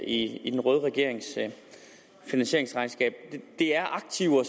i i den røde regerings finansieringsregnskab det er aktiver